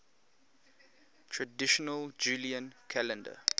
traditional julian calendar